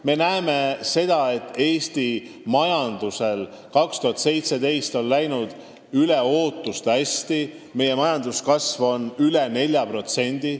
Me näeme seda, et Eesti majandusel läks 2017. aastal üle ootuste hästi, meie majanduskasv on üle 4%.